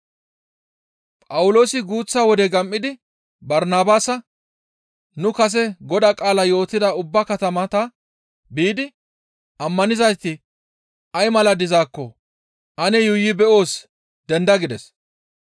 Phawuloosi guuththa wode gam7idi Barnabaasa, «Nu kase Godaa qaalaa yootida ubba katamata biidi ammanizayti ay mala dizaakko ane yuuyi beyoos, denda» gides.